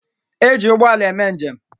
E ji ụgbọala eme njem.